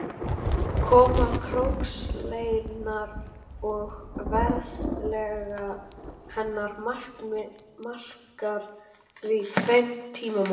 Koma krókskeljarinnar og ferðafélaga hennar markar því tvenn tímamót.